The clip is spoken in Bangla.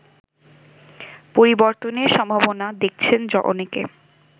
পরিবর্তনের সম্ভাবনা দেখছেন অনেকে